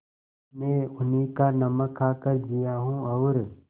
मैं उन्हीं का नमक खाकर जिया हूँ और